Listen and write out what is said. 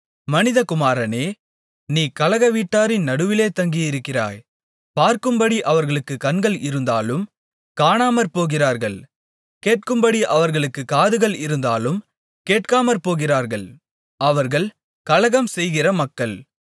மனிதகுமாரனே நீ கலகவீட்டாரின் நடுவிலே தங்கி இருக்கிறாய் பார்க்கும்படி அவர்களுக்குக் கண்கள் இருந்தாலும் காணாமற்போகிறார்கள் கேட்கும்படி அவர்களுக்குக் காதுகள் இருந்தாலும் கேட்காமற்போகிறார்கள் அவர்கள் கலகம்செய்கிற மக்கள்